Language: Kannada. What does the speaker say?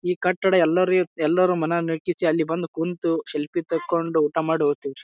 ಈ ಕಟ್ಟಡ ಎಲ್ಲರ್ ಎಲ್ಲರೂ ಮನೆಯಲ್ಲೂ ಐತಿ ಅಲ್ಲಿ ಬಂದು ಕೂಂತು ಸೆಲ್ಫಿ ತಂಗೊಂಡು ಊಟ ಮಾಡಿ ಓತೀವ್ರಿ.